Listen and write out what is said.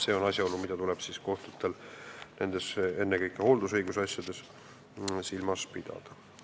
See on asjaolu, mida kohtutel tuleb eelkõige hooldusõiguse asjades silmas pidada.